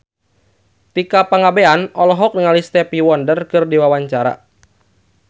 Tika Pangabean olohok ningali Stevie Wonder keur diwawancara